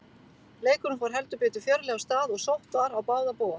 Leikurinn fór heldur betur fjörlega af stað og sótt var á báða bóga.